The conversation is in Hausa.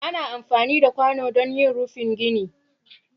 ana amfani da kwano don yin rufin gine